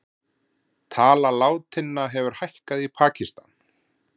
Tala látinna hefur hækkað í Pakistan